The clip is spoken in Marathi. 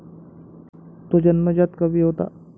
तो जन्मजात कवी होता.